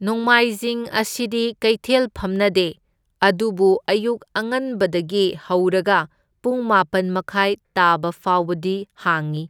ꯅꯣꯡꯃꯥꯏꯖꯤꯡ ꯑꯁꯤꯗꯤ ꯀꯩꯊꯦꯜ ꯐꯝꯅꯗꯦ, ꯑꯗꯨꯕꯨ ꯑꯌꯨꯛ ꯑꯉꯟꯕꯗꯒꯤ ꯍꯧꯔꯒ ꯄꯨꯡ ꯃꯥꯄꯟ ꯃꯈꯥꯏ ꯇꯥꯕꯐꯥꯎꯕꯗꯤ ꯍꯥꯡꯢ,